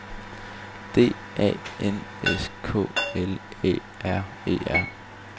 D A N S K L Æ R E R